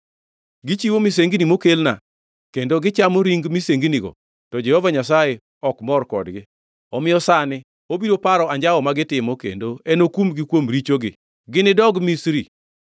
Gichiwo misengni mokelna kendo gichamo ring misenginigo, to Jehova Nyasaye ok mor kodgi. Omiyo sani obiro paro anjawo ma gitimo kendo enokumgi kuom richogi. Ginidogi Misri.